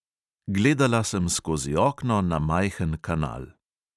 Gledala sem skozi okno na majhen kanal.